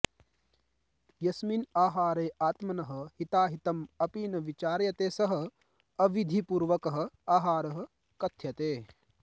यस्मिन् आहारे आत्मनः हिताहितं अपि न विचार्यते सः अविधिपूर्वकः आहारः कथ्यते